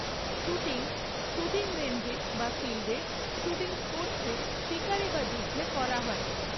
Shooting, shooting রেঞ্জে বা ফিল্ডে, শ্যুটিং স্পোর্টসে, শিকারে বা যুদ্ধে করা হয়।